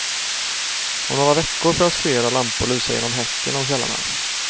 Om några veckor får jag se era lampor lysa genom häcken om kvällarna.